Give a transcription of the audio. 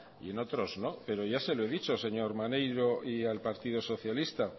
y en otros no pero ya se lo he dicho señor maneiro y al partido socialista